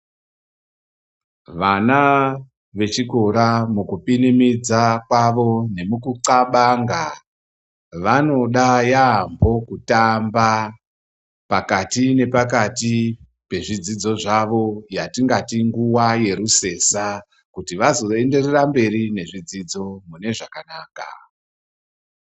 Vana vechikora , mukupinimidza kwavo, nemukutxabanga, vanoda yaamho kutamba pakati nepakati pezvidzidzo zvavo, yatingati nguva yerusesa kuti vazoenderera mberi nedzidzo mune zvakanaka.